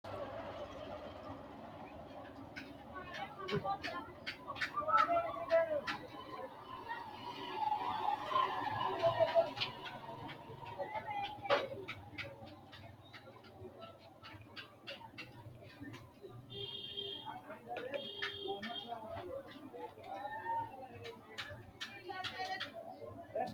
Xawino’neikki malaati hee’riro, rosiisaanchu malaate ledanno’ne gede xa’ma dandiitinanni Xawino’neikki malaati hee’riro, rosiisaanchu malaate ledanno’ne gede xa’ma dandiitinanni Xawino’neikki malaati.